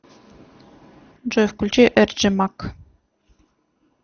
джой включи эрджимак